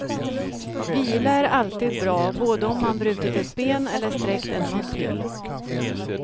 Vila är alltid bra, både om man brutit ett ben eller sträckt en muskel.